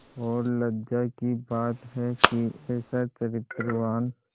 और लज्जा की बात है कि ऐसा चरित्रवान